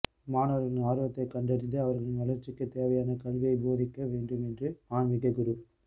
மாணவா்களின் ஆா்வத்தைக் கண்டறிந்து அவா்களின் வளா்ச்சிக்குத் தேவையான கல்வியைப் போதிக்க வேண்டும் என்று ஆன்மிக குரு